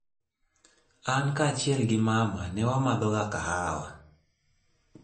An kaachiel gi mama ne wamadhoga kahawa.